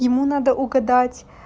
ему надо угадать